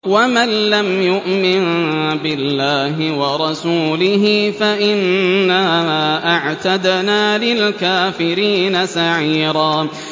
وَمَن لَّمْ يُؤْمِن بِاللَّهِ وَرَسُولِهِ فَإِنَّا أَعْتَدْنَا لِلْكَافِرِينَ سَعِيرًا